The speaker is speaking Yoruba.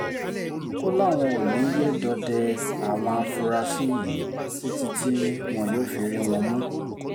ó láwọn ò ní í yé dọdẹ àwọn afurasí yìí títí tí wọn yóò fi rí wọn mú